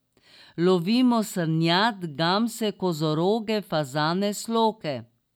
Lovimo srnjad, gamse, kozoroge, fazane, sloke.